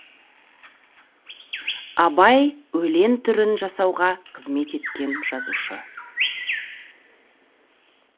абай өлең түрін жасауға қызмет еткен жазушы